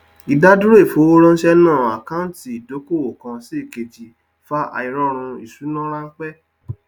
ìdádúró ìfowóránse náà àkáńtì ìdókòwò kan sí èkejì fa àìròrun ìṣúná ránpẹ